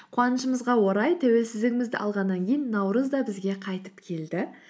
қуанышымызға орай тәуелсіздігімізді алғаннан кейін наурыз да бізге қайтып келді